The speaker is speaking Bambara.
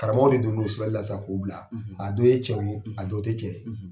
Karamɔgɔw bɛ don n'o ye k'u bila a dɔ ye cɛ ye ,, a dɔw tɛ cɛ ye.,